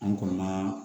An kɔni ma